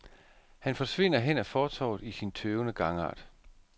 Han forsvinder hen ad fortovet i sin tøvende gangart.